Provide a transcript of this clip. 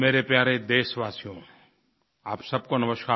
मेरे प्यारे देशवासियो आप सबको नमस्कार